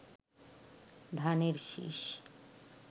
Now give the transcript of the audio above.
ধানের শীষ